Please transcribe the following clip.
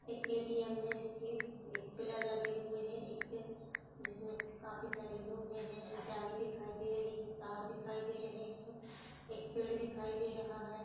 एक ए_टी_एम है जिसके एक पिलर लगे हुए हैंजिसमें काफी सारे लोग एक जाली दिखाई दे रही है तार दिखाई दे रहे हैं एक पेड़ दिखाई दे रहा है।